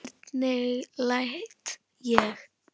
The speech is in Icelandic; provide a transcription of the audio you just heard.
Hvernig læt ég.